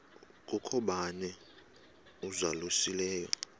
kukho bani uzalusileyo